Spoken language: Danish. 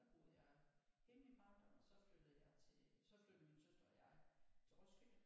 Der boede jeg hele min barndom og så flyttede jeg til så flyttede min søster og jeg til Roskilde